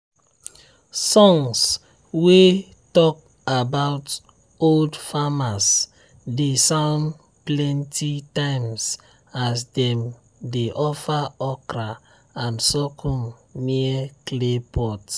songs wey talk about old farmers dey sound plenty times as dem dey offer okra and sorghum near clay pot.